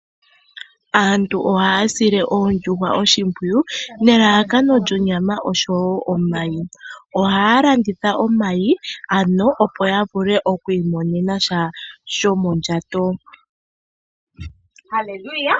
Aantu ohaya sile oondjuhwa oshimpwiyu nelalakano lyonyama oshowo omayi. Ohaya landitha omayi, opo ya vule oku imonena sha shomondjato.